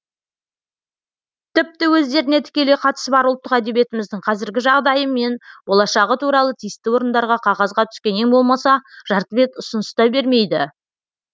тіпті өздеріне тікелей қатысы бар ұлттық әдебиетіміздің қазіргі жағдайы мен болашағы туралы тиісті орындарға қағазға түскен ең болмаса жарты бет ұсыныс та бермейді